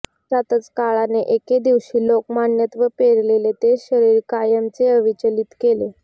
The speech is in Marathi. अशातच काळाने एके दिवशी लोकमान्यत्व पेरलेले ते शरीर कायमचे अविचल केले